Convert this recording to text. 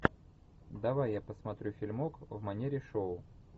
давай я посмотрю фильмок в манере шоу